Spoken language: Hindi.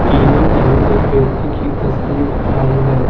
तीनों एवं एक व्यक्ति की तस्वीर आई है।